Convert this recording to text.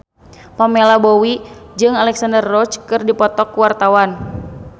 Pamela Bowie jeung Alexandra Roach keur dipoto ku wartawan